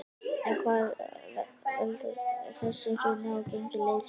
En hvað veldur þessu hruni á gengi liðsins?